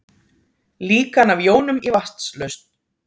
Líkan af jónum í vatnslausn.